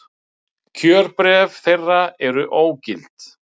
Kjörbréf þeirra eru ógild